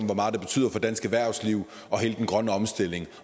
hvor meget det betyder for dansk erhvervsliv og hele den grønne omstilling